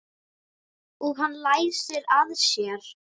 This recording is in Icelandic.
Og hann læsir að sér.